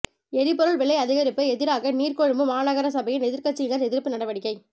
எரிபொருள் விலை அதிகரிப்புக்கு எதிராக நீர்கொழும்பு மாநகர சபையின் எதிர்கட்சியினர் எதிர்ப்பு நடவடிக்கை